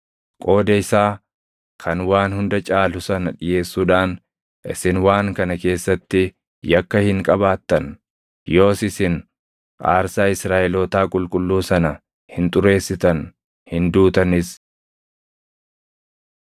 Qooda isaa kan waan hunda caalu sana dhiʼeessuudhaan isin waan kana keessatti yakka hin qabaattan; yoos isin aarsaa Israaʼelootaa qulqulluu sana hin xureessitan; hin duutanis.’ ”